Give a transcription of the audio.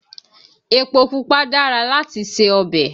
Epo pupa dára láti se ọbẹ̀